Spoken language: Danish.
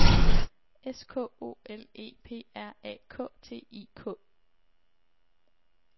S K O L E P R A K T I K